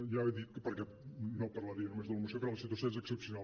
ja li he dit que no parlaria només de la moció perquè la situació és excepcional